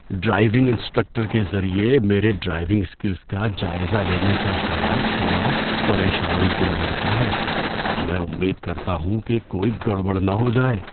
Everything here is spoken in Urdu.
ڈرائیونگ انسٹرکٹر کے ذریعہ میرے ڈرائیونگ اسکلز کا جائزہ لینے کا خیال تھوڑا پریشان کن لگتا ہے۔ میں امید کرتا ہوں کہ کوئی گڑبڑ نہ ہو جائے۔